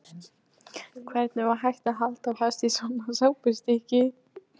Hvernig var hægt að halda fast í svona sápustykki!